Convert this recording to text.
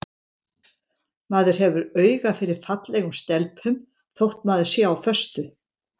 Maður hefur auga fyrir fallegum stelpum þótt maður sé á föstu.